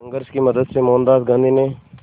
संघर्ष की मदद से मोहनदास गांधी ने